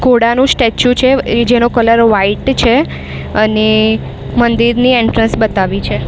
ઘોડાનું statue છે એ જેનો કલર વ્હાઈટ છે અને મંદિરની એન્ટ્રેન્સ બતાવી છે.